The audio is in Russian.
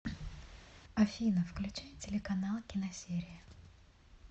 афина включай телеканал киносерия